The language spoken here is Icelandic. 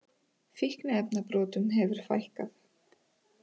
Fíkniefnabrotum hefur fækkað